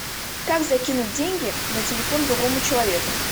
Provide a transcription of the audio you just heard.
как закинуть деньги на телефон другому человеку